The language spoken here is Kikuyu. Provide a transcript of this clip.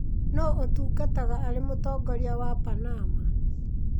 Nũũ ũtungataga arĩ Mũtongoria wa Panama?